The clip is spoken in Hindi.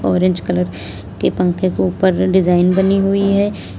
ऑरेंज कलर के पंखे के ऊपर डिजाइन बनी हुई है।